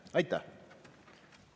Aitäh!